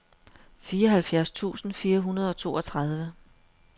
fireoghalvfjerds tusind fire hundrede og toogtredive